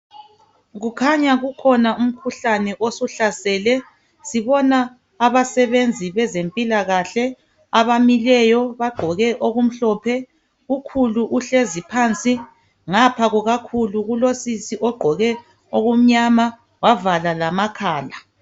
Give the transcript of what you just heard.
Kukhanya kukhona umkhuhlane osuhlasele. Sibona abasebenzi bezempilakahle abamileyo bagqoke okumhlophe ukhulu uhlezi phansi. Ngapha kukakhulu kulosisi ogqoke okumnyama wavala lamakhala.